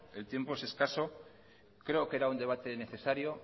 el tiempo es escaso creo que era un debate necesario